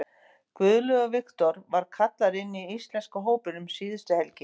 Guðlaugur Victor var kallaður inn í íslenska hópinn um síðustu helgi.